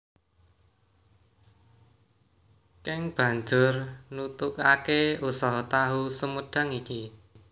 Keng banjur nutugaké usaha tahu sumedhang iki